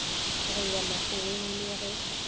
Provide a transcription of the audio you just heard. go ya makgoweng le ge